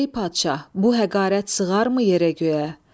Ey padşah, bu həqarət sığarmı yerə göyə?